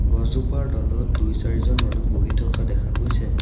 গছজোপাৰ তলত দুই চাৰিজন মানুহ বহি থকা দেখা গৈছে।